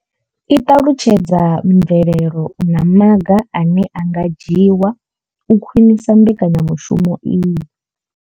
I ṱalutshedza mvelelo na maga ane a nga dzhiwa u khwinisa mbekanya mushumo iyi.